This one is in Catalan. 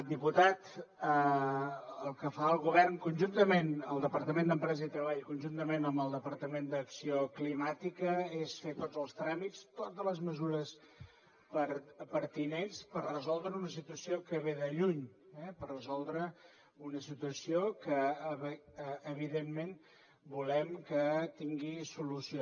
diputat el que fa el govern el departament d’empresa i treball conjuntament amb el departament d’acció climàtica és fer tots els tràmits totes les mesures pertinents per resoldre una situació que ve de lluny per resoldre una situació que evidentment volem que tingui solució